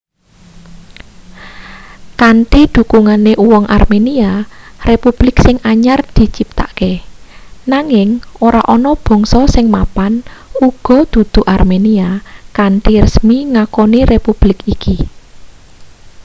kanthi dhukungane uwong armenia republik sing anyar diciptakake nanging ora ana bangsa sing mapan uga dudu armenia kanthi resmi ngakoni republik iki